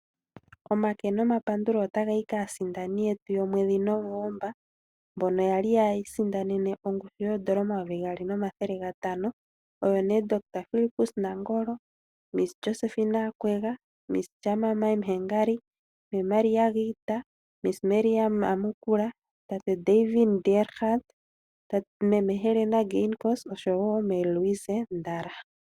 Omake nomapandulo otaga yi kaadindani yetu yaNovemba. Mbono ya li yiisindanene ongushu yoN$2500. Oyo nee Dr Fillipus Nangolo, miss Josephine Akwega, Miss Charmaine Hengari, Ms Maria Iita, Miss Mirjam Amukula, tate Devin Diergaardt, mee Helena Geingos oshowo tate Luiz Ndara.